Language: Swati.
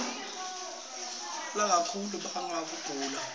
kulala kakhulu kubanga kugula